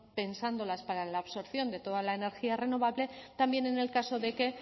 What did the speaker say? pensándolas para la absorción de toda la energía renovable también en el caso de que